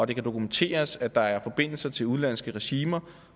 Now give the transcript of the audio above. det kan dokumenteres at der er forbindelser til udenlandske regimer